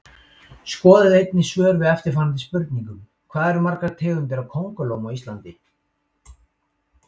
Skoðið einnig svör við eftirfarandi spurningum: Hvað eru margar tegundir af kóngulóm á Íslandi?